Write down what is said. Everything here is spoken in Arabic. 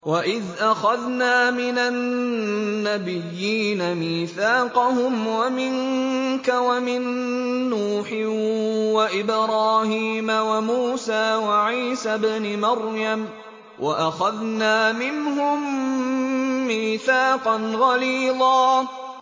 وَإِذْ أَخَذْنَا مِنَ النَّبِيِّينَ مِيثَاقَهُمْ وَمِنكَ وَمِن نُّوحٍ وَإِبْرَاهِيمَ وَمُوسَىٰ وَعِيسَى ابْنِ مَرْيَمَ ۖ وَأَخَذْنَا مِنْهُم مِّيثَاقًا غَلِيظًا